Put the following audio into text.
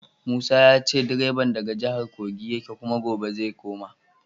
Musa ya ce direban daga jihar Kogi yake kuma gobe zai koma.